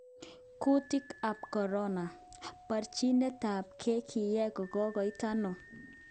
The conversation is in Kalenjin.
kutyet tab corona:Borchinetabge kinya ko kikoit ono?